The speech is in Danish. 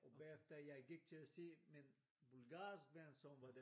Og bagefter jeg gik til at se min bulgarske ven som var der